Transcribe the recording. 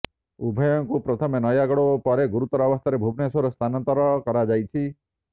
ଉଭୟଙ୍କୁ ପ୍ରଥମେ ନୟାଗଡ଼ ଓ ପରେ ଗୁରୁତର ଅବସ୍ଥାରେ ଭୁବନେଶ୍ୱର ସ୍ଥାନାନ୍ତର କରାଯାଇଛି